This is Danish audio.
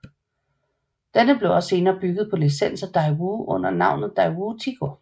Denne blev senere også bygget på licens af Daewoo under navnet Daewoo Tico